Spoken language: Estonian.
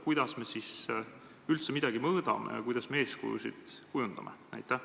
Kuidas me siis üldse midagi mõõdame ja kuidas me eeskujusid kujundame?